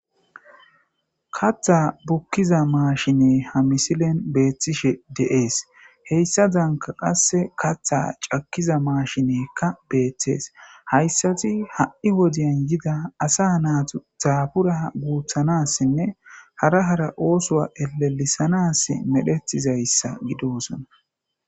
Katha bukana danda'iza mashine beyanas danda'adis hesadanka katha goyana danda'iza machine beyanas danda'adis haysati ha'i Woden yida asa naytas dabura guthana hara hara othuwa elelisanas medhetizaysa gidosona